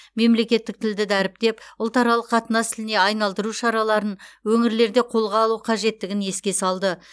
мемлекеттік тілді дәріптеп ұлтаралық қатынас тіліне айналдыру шараларын өңірлерде қолға алу қажеттігін еске салды